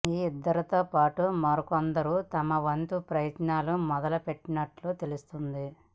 ఈ ఇద్దరితో పాటు మరికొందరు తమవంతు ప్రయత్నాలు మొదలు పెట్టినట్లు తెలుస్తోంది